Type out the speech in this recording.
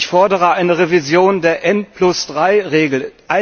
Ich fordere eine Revision der N3 Regel.